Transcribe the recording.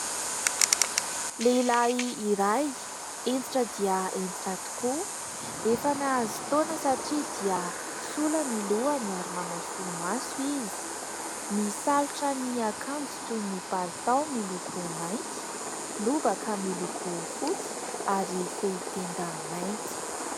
Lehilahy iray hentitra dia hentitra tokoa, efa nahazo taona satria dia sola ny lohany ary manao solomaso izy, misalotra ny akanjo toy ny palitao miloko mainty, lobaka miloko fotsy ary fehi-tenda mainty.